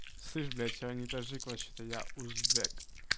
слышь блять я не таджик вообще-то я узбек